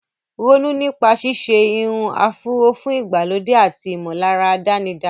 Ronú nípa ṣíṣe irun áfúró fún ìgbàlódé àti ìmọ̀lára àdánidá.